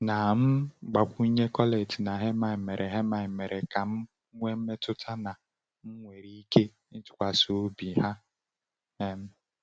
Na um mgbakwunye, Colette na Hermine mere Hermine mere ka m nwee mmetụta na m nwere ike ịtụkwasị ha obi. um